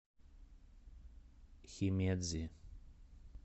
химедзи